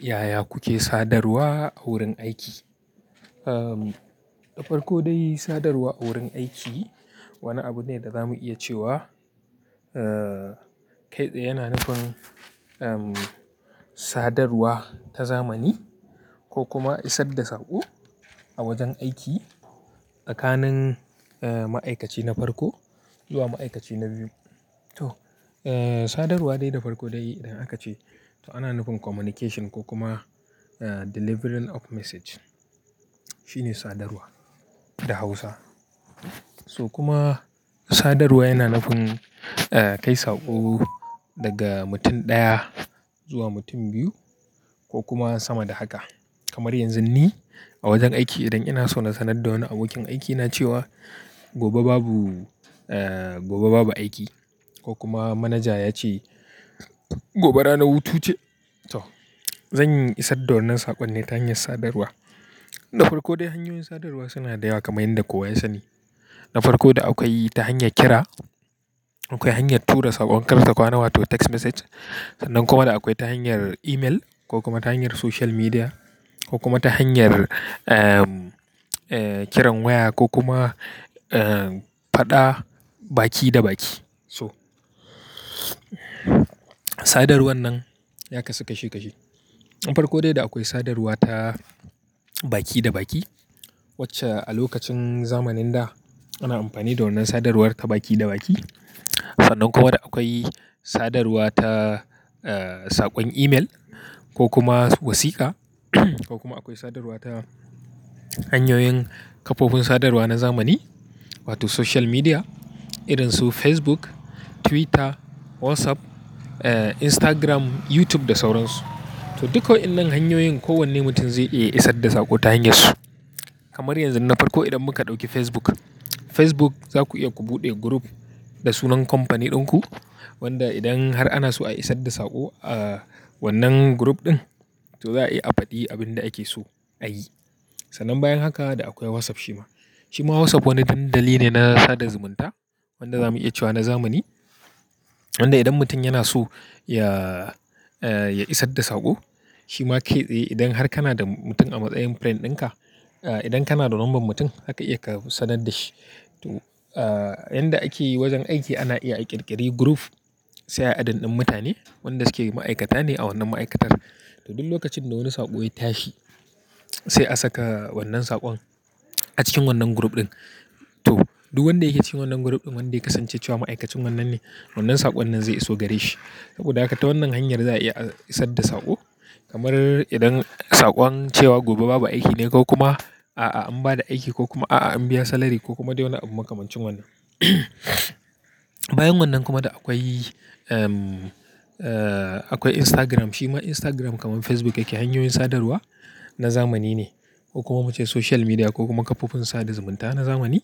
Yaya kuke sadarwa a wurin aiki? Ahm, na farko dai sadarwa a wurin aiki wani abu ne da za mu iya cewa. Kai tsaye yana nufin sadawar ta zamani kokuma isar da saƙo a wajen aiki tsakanin ma'aikaci na farko zuwa ma'aikaci na biyu to, sadarwa dai da farko dai idan haka ce to ana nufin communication ko kuma, eh, delivering of message shine sadarwa da Hausa. So kuma sadarwa yana nufin, kai saƙo daga mutum ɗaya zuwa mutum biyu ko kuma sama da haka. Kamar yanzun ni a wajen aiki idan ina so na sanar da wani abokin aikina cewa gobe babu, eh, gobe babu aiki ko kuma manaja ya ce gobe ranar hutu ce. To, zan isar da wannan saƙon ne ta hanyar sadarwa. Na farko dai hanyoyin sadarwa suna da yawa kamar yadda kowa ya sani, na farko da akwai ta hanyar kira akwai hanyar tura saƙon karta kwana wato text message. Sannan kuma da akwai ta hanyar email ko kuma ta hanyar social media ko kuma ta hanyar, kiran waya ko kuma, eh, faɗa baki da baki so. Sadarwan nan ya kasu kashi kashi. Na farko dai da akwai sadarwa ta baki da baki wacce a lokacin zamanin da ana amfani da wannan sadarwar ta baki da baki. Sannan kuma da akwai sadarwa ta, saƙon email ko kuma wasiƙa ko kuma akwai sadarwa ta hanyoyin kafofin sadarwa na zamani wato social media irin su Facebook, Twitter, WhatsApp, Instagram, YouTube da sauran su. To, duka wa'yannan hanyoyin kowanne mutum zai iya isar da saƙo ta hanyarsu. Kamar yanzu na farko idan muka ɗauki Facebook, Facebook za ku iya ku buɗe group da sunan kamfani ɗinku wanda idan har ana so a isar da saƙo a wannan group ɗin, to za a iya a faɗi abin da ake so a yi. Sannan bayan haka da akwai WhatsApp shima. Shima WhatsApp wani dandali ne na sada zumunta wanda za mu iya cewa na zamani wanda idan mutum yana so ya, ya isar da saƙo shima kai tsaye. Idan har kana da mutum a matsayin friend ɗinka, eh, idan kana da numbar mutum zaka iya ka sanar da shi. To, yanda ake yi wajen aiki ana iya a ƙirƙiri group sai ayi adding ɗin mutane wanda suke ma'aikata ne a wannan ma'aikatar. To, duk lokacin da wani saƙo ya tashi sai a saka wannan saƙon a cikin wannan group ɗin. To, duk wanda yake cikin wannan group ɗin wanda ya kasance cewa ma'aikacin wannan ne, wannan saƙon nan zai iso gare shi. Saboda haka ta wannan hanyar za a iya isar da saƙo kamar idan saƙon cewa gobe babu aiki ne ko kuma a'a an ba da aiki ko kuma a'a an biya salary ko kuma dai wani abu makamancin wannan. Bayan wannan kuma da akwai, akwai Instagram. Shima Instagram kamar Facebook yake hanyoyin sadarwa na zamani ne ko kuma mu ce social media ko kuma kafofin sada zumunta na zamani.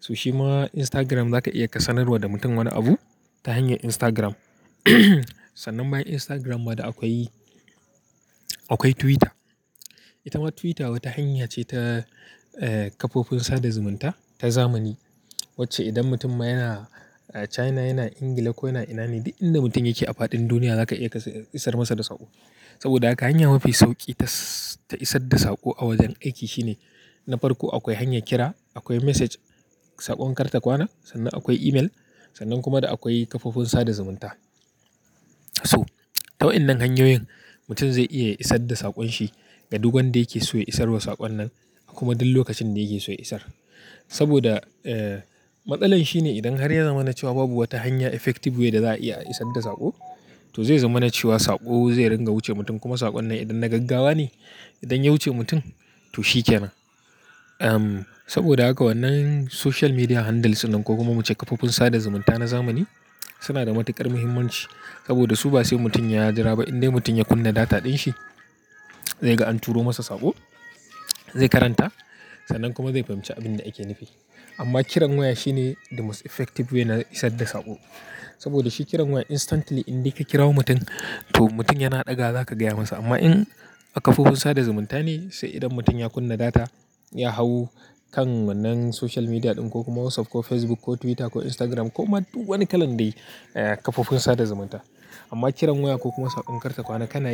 To, shima Instagram za ka iya ka sanarwa da mutum wani abu ta hanyar Instagram. Sannan bayan Instagram ma da akwai, akwai Twitter. Ita ma Twitter wata hanya ce ta, eh, kafofin sada zumunta ta zamani wacce idan mutum yana, eh, China yana Ingila ko yana ina ne duk inda mutum yake a faɗin duniya za ka iya ka isar masa da saƙo. Saboda haka hanya mafi sauƙi ta, ta isar da saƙo a wajen aiki shine na farko akwai hanya kira, akwai message saƙon karta kwana, sannan akwai email sannan kuma da akwai kafofin sada zumunta. So, ta wa'yannan hanyoyin mutum zai iya isar da saƙon shi ga duk wanda yake so ya isarwa saƙon nan kuma duk lokacin da yake so ya isar. Saboda, eh, matsalar shine idan har ya zama na cewa babu wata hanya effective way da za a iya isar da saƙo, to zai zama na cewa saƙo zai ringa wuce mutum kuma saƙon nan idan na gaggawa ne idan ya wuce mutum to shi kenan. Em, saboda haka wannan social media handles nan ko kuma mu ce kafofin sada zumunta na zamani suna da matuƙar muhimmanci saboda su ba sai mutum ya jira ba indai mutum ya kunna data ɗin shi zai ga an turo masa saƙo, zai karanta sannan kuma zai fahimci abin da ake nufi. Amma kiran waya shine the most effective way na isar da saƙo saboda shi kiran waya instantly indai ka kirawo mutum to mutum yana ɗaga za ka gaya masa. Amma in a kafofin sada zumunta ne sai idan mutum ya kunna data ya hau kan wannan social media ɗin ko kuma WhatsApp ko Facebook ko Twitter ko Instagram ko ma duk wani kalan dai, eh, kafofin sada zumunta. Amma kiran waya ko kuma saƙon karta kwana ka na iya.